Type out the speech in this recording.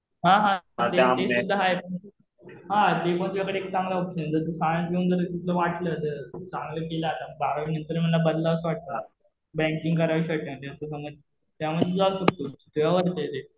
हा हा ते सुध्दा आहे. हा ते पण तुझ्याकडे चांगलं ऑप्शन आहे. जर तू सायन्स घेऊन तुला जर वाटलं चांगलं केला आता बारावी नंतर बदलावंस वाटलं. बँकिंग करावीशी वाटलं त्यामुळे तुला फेवर भेटेल.